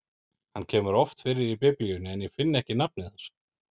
Hann kemur oft fyrir í Biblíunni, en ég finn ekki nafnið hans.